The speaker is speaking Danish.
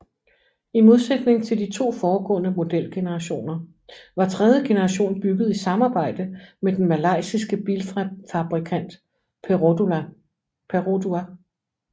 I modsætning til de to foregående modelgenerationer var tredje generation bygget i samarbejde med den malaysiske bilfabrikant Perodua